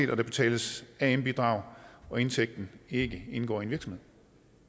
der betales am bidrag og indtægten ikke indgår i en virksomhed